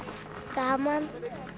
gaman